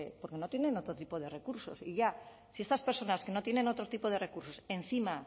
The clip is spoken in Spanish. porque no tienen otro tipo de recursos y ya si estas personas que no tienen otro tipo de recursos encima